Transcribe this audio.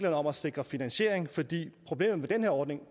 om at sikre finansiering fordi problemet med den her ordning